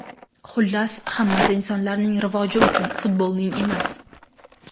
Xullas, hammasi insonlarning rivoji uchun, futbolning emas!